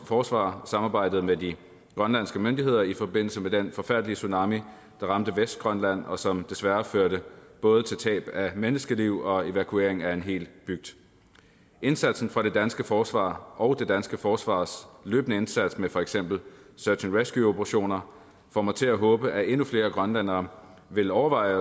forsvar samarbejdede med de grønlandske myndigheder i forbindelse med den forfærdelige tsunami der ramte vestgrønland og som desværre førte både til tab af menneskeliv og evakuering af en hel bygd indsatsen fra det danske forsvar og det danske forsvars løbende indsats med for eksempel seach and rescue operationer får mig til at håbe at endnu flere grønlændere vil overveje